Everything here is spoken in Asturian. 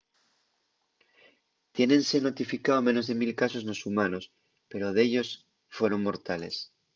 tiénense notificao menos de mil casos nos humanos pero dellos fueron mortales